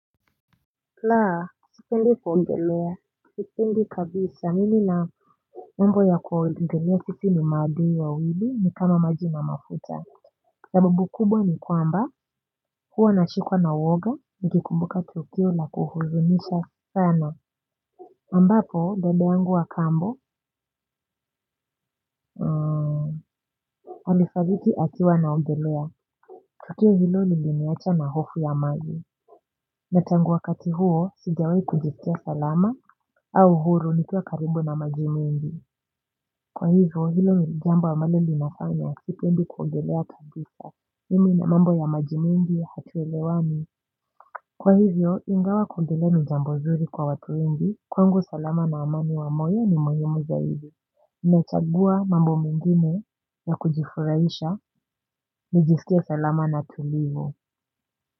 Kila sipendi kuongelea sipendi kabisa mimi na mambo ya kuongelea sisi ni maadui wawili ni kama maji na mafuta sababu kubwa ni kwamba huwa nashikwa na uoga nikikumbuka tukio la kuhuzunisha sana ambapo dada yangu wa kambo alifariki akiwa anaogelea tukio hilo liliniacha na hofu ya maji na tangu wakati huo sijawai kujiskia salama au huru nikia karibu na maji mengi. Kwa hivyo hilo ni jambo ambalo linafanya sipendi kuogelea kabisa. Mimi na mambo ya maji mingi hatuelewani. Kwa hivyo ingawa kuogelea ni jambo zuri kwa watu wengi. Kwangu salama na amani wa moyo ni muhimu zaidi. Ninachagua mambo mengine ya kujifuraisha. Nijisikie salama na tulivu.